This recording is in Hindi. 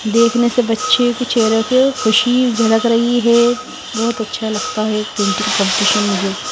देखने से बच्चे के चेहरे को खुशी झलक रही है बहुत अच्छा लगता है इक पेंटिंग कॉम्पिटिशन मुझे--